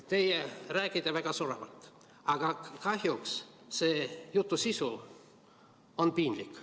Te räägite väga soravalt, aga kahjuks selle jutu sisu on piinlik.